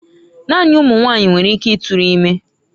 Naanị ụmụ nwanyị nwere ike ịtụrụ ime.